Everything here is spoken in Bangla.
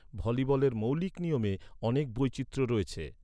ভলিবলের মৌলিক নিয়মে অনেক বৈচিত্র্য রয়েছে।